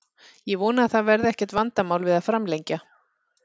Ég vona að það verði ekkert vandamál við að framlengja.